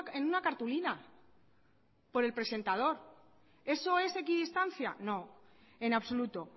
en una cartulina por el presentador eso es equidistancia no en absoluto